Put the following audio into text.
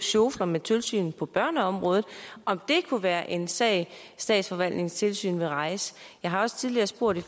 sjofler med tilsynet på børneområdet om det kunne være en sag statsforvaltningens tilsyn ville rejse jeg har også tidligere spurgt i